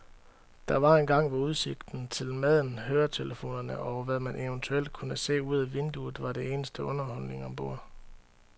Der var engang, hvor udsigten til maden, høretelefonerne og hvad man eventuelt kunne se ud ad vinduet, var eneste underholdning ombord.